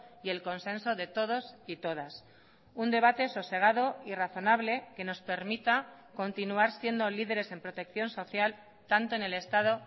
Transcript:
y el consenso de todos y todas un debate sosegado y razonable que nos permita continuar siendo lideres en protección social tanto en el estado